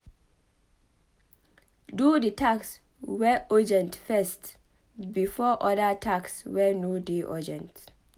Do di task wey urgent first before oda tasks wey no dey urgent